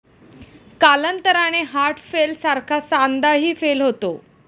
कालांतराने 'हार्टफेल' सारखा सांधाही 'फेल' होतो.